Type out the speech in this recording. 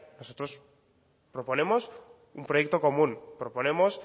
nosotros proponemos un proyecto común proponemos